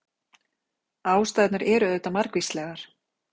Ástæðurnar eru auðvitað margvíslegar.